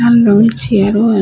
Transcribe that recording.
লাল রঙের চেয়ার ও আ--